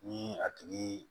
Ni a tigi